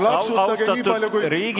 Kas ma võin küsimuse ära küsida?